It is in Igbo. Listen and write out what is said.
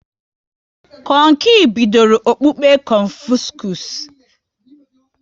Kong Qi bidoro okpukpe Confuscus